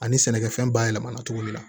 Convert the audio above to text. Ani sɛnɛkɛfɛn bayɛlɛma na cogo min na